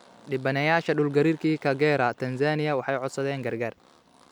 Dhibbanayaasha dhulgariirkii Kagera, Tanzania, waxay codsadeen gargaar